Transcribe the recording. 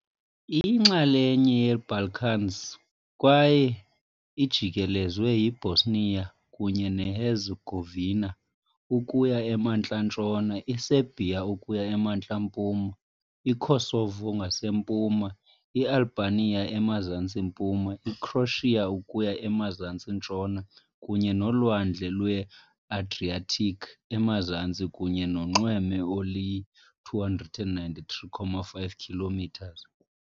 Iyinxalenye yeeBalkans kwaye ijikelezwe yiBosnia kunye neHerzegovina ukuya emantla-ntshona, iSerbia ukuya emantla-mpuma, iKosovo ngasempuma, iAlbania emazantsi-mpuma, iCroatia ukuya emazantsi-ntshona, kunye noLwandle lweAdriatic emazantsi kunye nonxweme oluyi-293.5 km.